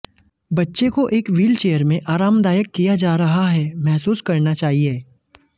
बच्चे को एक व्हीलचेयर में आरामदायक किया जा रहा है महसूस करना चाहिए